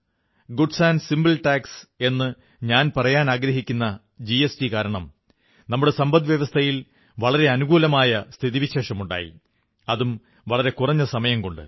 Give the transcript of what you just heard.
good and simple tax എന്നു ഞാൻ പറയാനാഗ്രഹിക്കുന്ന ജിഎസ്ടി കാരണം നമ്മുടെ സമ്പദ്വ്യവസ്ഥയിൽ വളരെ അനുകൂലമായ സ്ഥിതിവിശേഷമുണ്ടായി അതും വളരെ കുറഞ്ഞ സമയംകൊണ്ട്